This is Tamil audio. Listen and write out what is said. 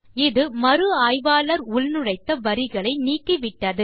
இது மறு ஆய்வாளர் உள்நுழைத்த வரிகளை நீக்கிவிட்டது